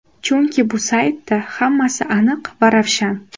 Chunki bu saytda hammasi aniq va ravshan.